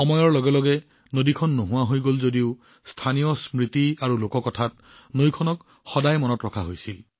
সময়ৰ লগে লগে সেইখন নোহোৱা হৈ গল যদিও স্থানীয় স্মৃতি আৰু লোককথাত নদীখনক সদায় মনত ৰখা হৈছিল